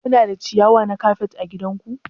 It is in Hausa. Kuna da ciyawa na kafet ã gidan ku?